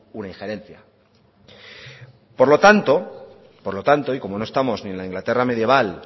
una injerencia por lo tanto y como no estamos ni en la inglaterra medieval